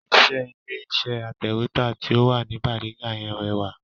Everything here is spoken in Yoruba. Iṣẹ́ ilé iṣẹ́ atẹ̀wẹ́tà ti o wà ní bariga yẹn rẹwà